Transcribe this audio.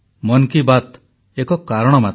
ମନ୍ କି ବାତ୍ ଏକ ମାଧ୍ୟମ ମାତ୍ର